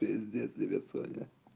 пиздец тебе соня